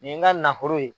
Nin ye n ka nafolo ye